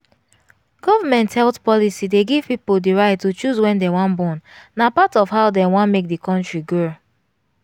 government health policy dey give people the right to choose wen dem wan bornna part of how dem wan make di country grow.